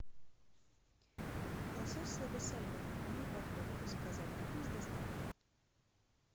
лосось слабосоленый одну упаковку заказать на дом с доставкой